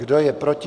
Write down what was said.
Kdo je proti?